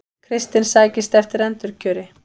Kristinn sækist eftir endurkjöri